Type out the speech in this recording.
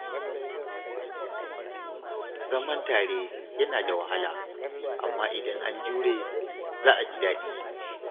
Zaman tare yana da wahala, amma idan an jure, za a ji daɗi